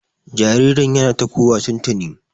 Jaririn yana ta ƙuwa tuntuni.